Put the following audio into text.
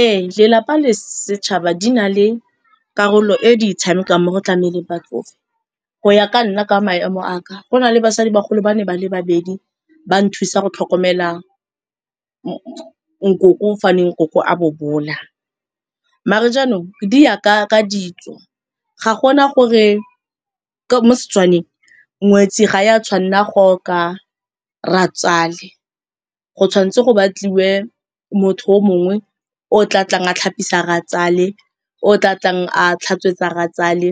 Ee, lelapa le setšhaba di na le karolo e di e tshamekang mo go tlameleng batsofe go ya ka nna ka maemo a ka, go na le basadi bagolo ba ne ba le babedi ba nthusa go tlhokomela nkoko fa ne nkoko a bobola. Mare jaanong, di ya ka ditso ga gona gore mo Setswaneng ngwetsi ga ya tshwanna go oka rratswale, go tshwan'tse go batliwe motho o mongwe o tla tlang a tlhapisa rratswale, o tla tlang a tlhatswetsa rratswale